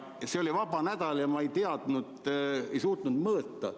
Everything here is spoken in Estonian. See oli vabal nädalal ja ma ei teadnud vastata, ei osanud mõõta.